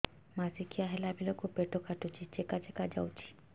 ମାସିକିଆ ହେଲା ବେଳକୁ ପେଟ କାଟୁଚି ଚେକା ଚେକା ଯାଉଚି